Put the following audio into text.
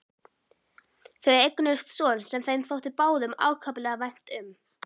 Þau eignuðust son sem þeim þótti báðum ákaflega vænt um.